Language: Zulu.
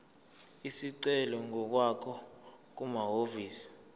isicelo ngokwakho kumahhovisi